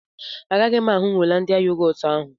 Agaghị m aṅụ yogọt holandia ahụ